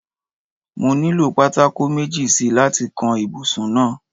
No nílò pátákó méjì si láti kan ibùsùn náà.